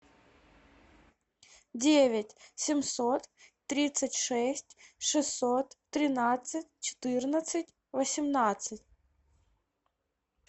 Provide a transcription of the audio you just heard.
девять семьсот тридцать шесть шестьсот тринадцать четырнадцать восемнадцать